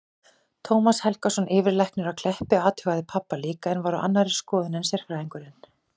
Tómas Helgason, yfirlæknir á Kleppi, athugaði pabba líka en var á annarri skoðun en sálfræðingurinn.